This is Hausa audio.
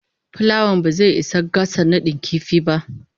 plawan ba zai isa a gasa nadin kifi ba.